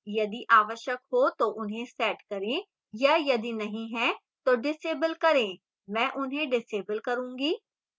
यदि आवश्यक हो तो उन्हें set करें या यदि नहीं है तो disable करें मैं उन्हें disable करूंगी